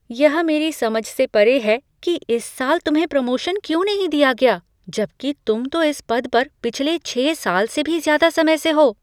यह मेरी समझ से परे है कि इस साल तुम्हें प्रमोशन क्यों नहीं दिया गया, जबकि तुम तो इस पद पर पिछले छः साल से भी ज़्यादा समय से हो।